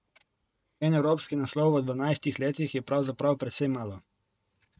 En evropski naslov v dvanajstih letih je pravzaprav precej malo.